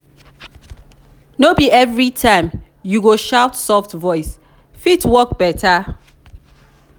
no be every time you go shout soft voice fit work better.